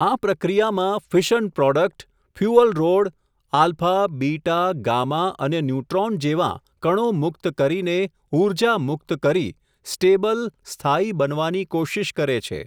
આ પ્રક્રિયામાં, fission product, fuel rod, alpha, beta, gamma, અને ન્યુટ્રોન જેવાં, કણો મુક્ત કરીને, ઉર્જા મુકત કરી, સ્ટેબલ, સ્થાયી, બનવાની કોશિશ કરે છે.